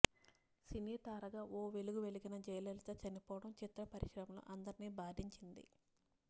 సినీ తారగా ఓ వెలుగు వెలిగిన జయలలిత చనిపోవడం చిత్ర పరిశ్రమలో అందరినీ బాధించింది